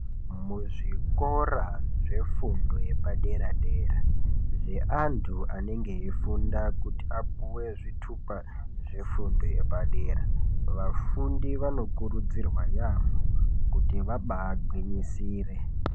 Muzvikora zvefundo yepadera dera zveantu anenge eifunda kuti apuwe zvitupa zvefundo yepadera vanfundi vanokurudzirwa yaamho kuti vabagwinyisire.